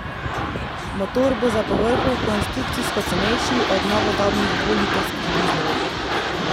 Motor bo za povrhu konstrukcijsko cenejši od novodobnih dvolitrskih dizlov.